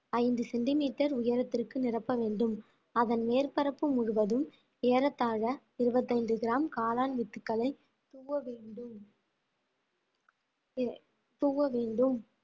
ஐந்து சென்டிமீட்டர் உயரத்திற்கு நிரப்ப வேண்டும் அதன் மேற்பரப்பு முழுவதும் ஏறத்தாழ இருபத்தி ஐந்து கிராம் காளான் வித்துக்களை தூவ வேண்டும் தூவ வேண்டும்